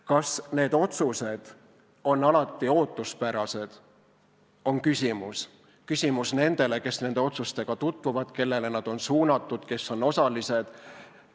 Kas need otsused on alati ootuspärased, on küsimus nendele, kes nende otsustega tutvuvad, kellele nad on suunatud, kes on osalised.